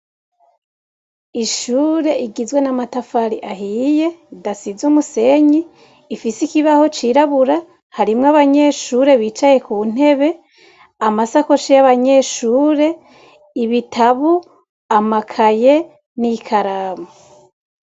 Ishure rigizwe n'amatafari ahiye ridasize umusenyi, ifise ikibaho c'irabura, harimwo abanyeshure bicaye ku ntebe, amasakoshi y'abanyeshure, ibitabo, amakaye n'ikaramu.